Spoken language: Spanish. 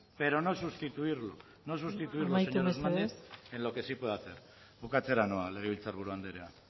pero no sustituirlo señor hernández en lo que sí puede hacer amaitu mesedez bukatzera noa legebiltzar buru anderea